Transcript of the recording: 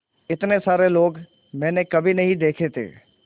इतने सारे लोग मैंने कभी नहीं देखे थे